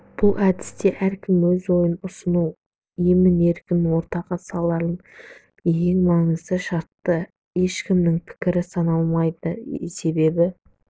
бұл әдісте әркім өз ойын ұсынысын емін-еркін ортаға салады ең маңызды шарты ешкімнің пікірі сыналмайды себебі